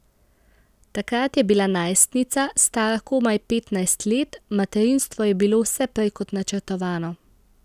Takrat je bila najstnica, stara komaj petnajst let, materinstvo je bilo vse prej kot načrtovano.